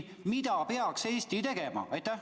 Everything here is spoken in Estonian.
Mida peaks Eesti tegema?